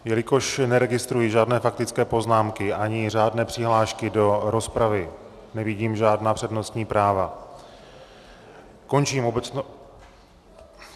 Jelikož neregistruji žádné faktické poznámky ani řádné přihlášky do rozpravy, nevidím žádná přednostní práva, končím obecnou...